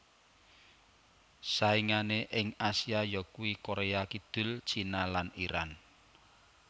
Saingané ing Asia yakuwi Korea Kidul China lan Iran